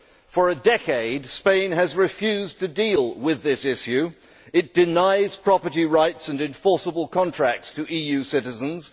For a decade, Spain has refused to deal with this issue. It denies property rights and enforceable contracts to EU citizens